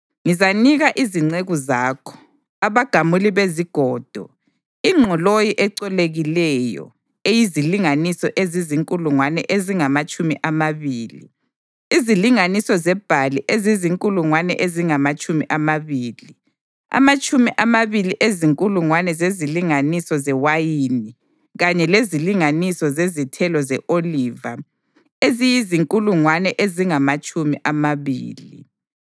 Ngizanika izinceku zakho, abagamuli bezigodo, ingqoloyi ecolekileyo eyizilinganiso ezizinkulungwane ezingamatshumi amabili, izilinganiso zebhali ezizinkulungwane ezingamatshumi amabili, amatshumi amabili ezinkulungwane zezilinganiso zewayini kanye lezilinganiso zezithelo ze-oliva eziyizinkulungwane ezingamatshumi amabili.”